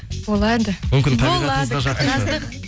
болады мүмкін табиғатыңызға жақын шығар